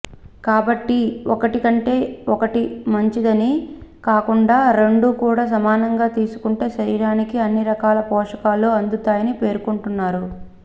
కాబ్టటి ఒకటికంటే ఒకటి మంచిదని కాకుండా రెండు కూడా సమానంగా తీసుకుంటే శరీరానికి అన్ని రకాల పోషకాలు అందుతాయని పేర్కొంటున్నారు